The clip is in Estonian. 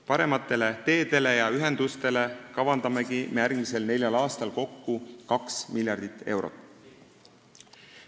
Parematele teedele ja ühendustele kavandamegi me järgmisel neljal aastal kokku 2 miljardit eurot.